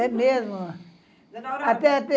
É mesmo. Dona Aurora... até